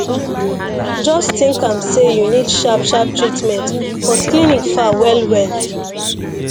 just think am say you need sharp sharp treatment but clinic far well well